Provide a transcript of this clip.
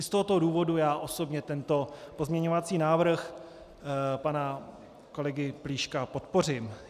I z tohoto důvodu já osobně tento pozměňovací návrh pana kolegy Plíška podpořím.